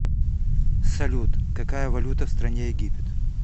салют какая валюта в стране египет